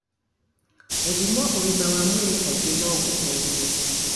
Gũthimwo ũgima wa mwĩrĩ kaingĩ no gũteithie